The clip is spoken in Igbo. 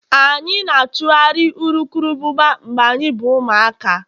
anyị na-achụgharị urukurubụba mgbe anyị bụ ụmụaka